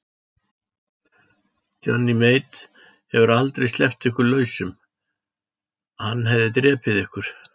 Johnny Mate hefði aldrei sleppt ykkur lausum, hann hefði drepið ykkur.